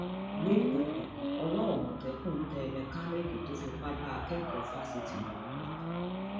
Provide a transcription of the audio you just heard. lókùkù ọwọ àmọtẹkùn tẹ mẹkáníìkì tó fipá bá akẹkọọ fásitì lò pọ